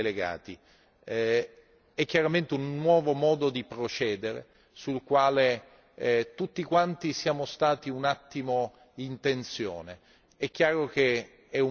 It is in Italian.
Un'ultima annotazione sugli atti delegati è chiaramente un nuovo modo di procedere, sul quale tutti quanti siamo stati un attimo in tensione.